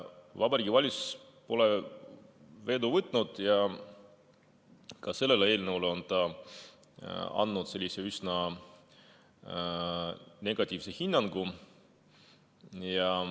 Vabariigi Valitsus pole vedu võtnud ja ka selle eelnõu kohta on ta andnud üsna negatiivse hinnangu.